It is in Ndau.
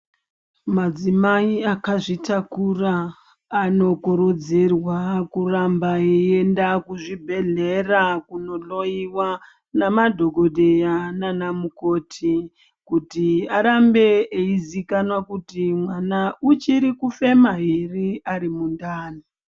Madzimai akazvitakura anokurudzirwa kuramba eyi enda kuzvibhedhlera kunohloyiwa namadhokodheya naana mukoti kuti arambe eiziikanwa kuti mwana uchiri kufema here ari mundani.